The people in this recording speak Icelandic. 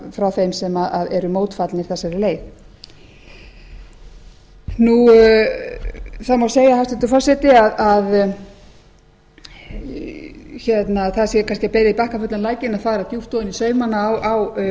frá þeim sem eru mótfallnir þessari leið það má segja hæstvirtur forseti að það sé kannski að bera í bakkafullan lækinn að fara djúpt ofan í saumana á